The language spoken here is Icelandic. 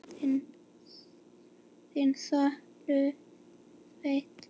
Þinn sonur, Sveinn.